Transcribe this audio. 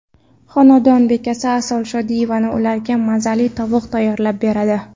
Xonadon bekasi Asal Shodiyeva ularga mazali tovuq tayyorlab beradi.